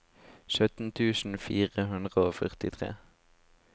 sytten tusen fire hundre og førtitre